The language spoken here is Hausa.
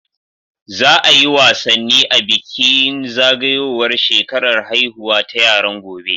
Za a yi wasanni a bikin zagayowar shekarar haihuwa ta yaran, gobe.